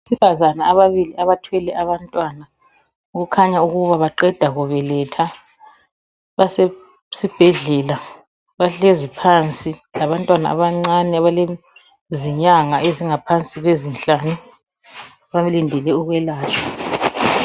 Abesifazana ababili abathwele abantwana okukhanya ukuba baqeda kubeletha, basesibhedlela bahlezi phansi labantwana abancane abalezinyanga ezingaphansi kwezinhlanu balindele ukwelatshwa.